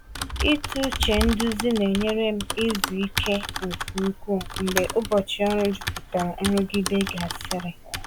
Ịtụ uche nduzi na-enyere m izu ike nke ukwuu mgbe ụbọchị ọrụ jupụtara nrụgide gasịrị.